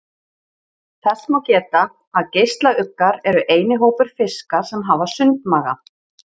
Þess má geta að geislauggar eru eini hópur fiska sem hafa sundmaga.